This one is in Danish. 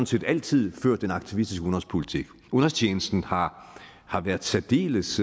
set altid ført en aktivistisk udenrigspolitik udenrigstjenesten har har været særdeles